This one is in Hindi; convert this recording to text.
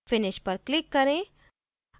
finish पर click करें